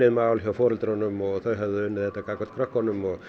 mál hjá foreldrunum og þau höfðu unnið þetta gagnvart krökkunum og